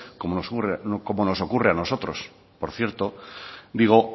como nos ocurre a nosotros por cierto digo